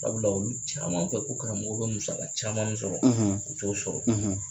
Sabula olu caman fɛ ko karamɔgɔw bɛ musa caman min sɔrɔ k'a sɔrɔ a t'o sɔrɔ